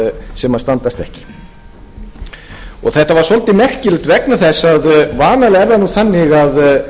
þetta var svolítið merkilegt vegna þess að vanalega er það þannig að